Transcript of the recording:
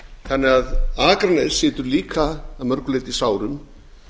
þannig að akranes situr líka að mörgu leyti í sárum